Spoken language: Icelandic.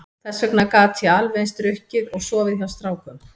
Þess vegna gat ég alveg eins drukkið og sofið hjá strákum.